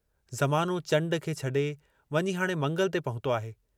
ज़मानो चंडु खे छॾे वञी हाणे मंगल ते पहुतो आहे।